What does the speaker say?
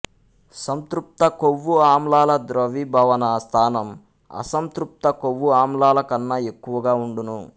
సంతృప్త కొవ్వు ఆమ్లాల ద్రవీభవన స్థానం అసంతృప్త కొవ్వు ఆమ్లాలకన్న ఎక్కువగా వుండును